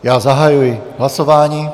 Já zahajuji hlasování.